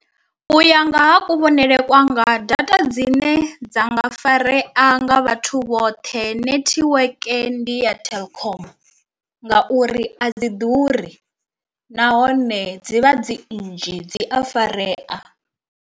U ya nga ha kuvhonele kwanga data dzine dza nga farea nga vhathu vhoṱhe netiweke ndi ya telkom, ngauri a dzi ḓuri nahone dzivha dzi nnzhi dzi a farea.